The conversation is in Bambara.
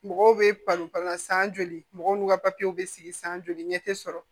Mɔgɔw bɛ san joli mɔgɔw n'u ka bɛ sigi san joli ɲɛ tɛ sɔrɔ